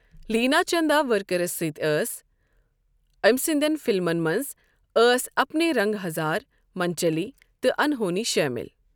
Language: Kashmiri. لینا چنداورکرَس سۭتۍ أس أمۍ سٕنٛدٮ۪ن فلمَن منٛز ٲس اپنے رنگ ہزار، منچلی، تہٕ انہونی شٲمِل۔